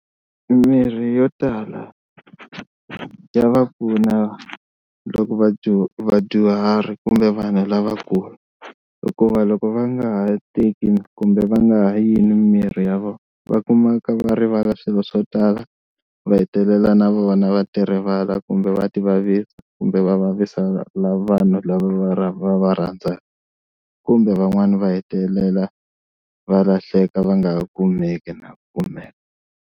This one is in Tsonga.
Mimirhi yo tala ya va pfuna loko vadyu vadyuhari kumbe vanhu lavakulu hikuva loko va nga ha teki kumbe va nga ha yinwi mimirhi ya vona, va kumeka va rivala swilo swo tala va hetelela na vona va ti rivala kumbe va ti vavisa kumbe va vavisa na vanhu lava va va rhandzaka kumbe van'wani va hetelela va lahleka va nga ha kumeki na ku kumeka.